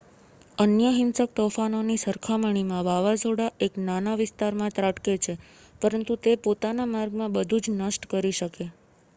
અન્ય હિંસક તોફાનોની સરખામણીમાં વાવાઝોડા એક નાના વિસ્તારમાં ત્રાટકે છે પરંતુ તે પોતાના માર્ગમાં બધું જ નષ્ટ કરી શકે